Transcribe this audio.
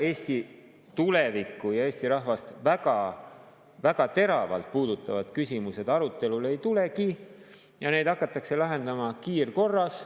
Eesti tulevikku ja Eesti rahvast väga-väga teravalt puudutavad küsimused arutelule ei tulegi ja neid hakatakse lahendama kiirkorras.